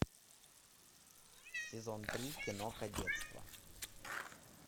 сезон три кино кадетство